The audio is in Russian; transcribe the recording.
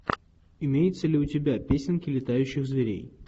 имеется ли у тебя песенки летающих зверей